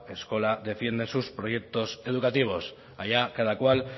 eskola defiende en sus proyectos educativos allá cada cual